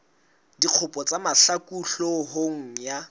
dikgopo tsa mahlaku hloohong ya